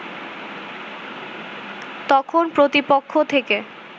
তখন প্রতিপক্ষ থেকে